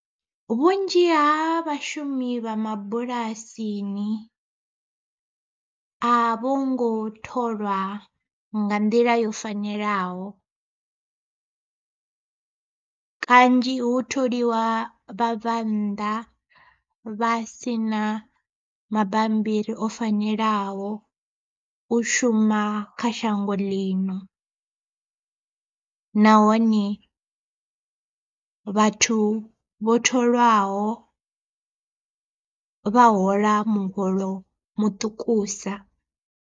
Vhunzhi ha vhashumi vha mabulasini a vho ngo tholwa nga nḓila yo fanelaho, kanzhi hu tholiwa vhabvannḓa vha si na mabambiri o fanelaho u shuma kha shango ḽino, nahone vhathu vho tholwaho vha hola muholo muṱukusa.